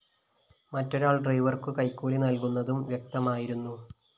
മറ്റൊരാള്‍ ഡ്രൈവര്‍ക്കു കൈക്കൂലി നല്‍കുന്നതും വ്യക്തമായിരുന്നു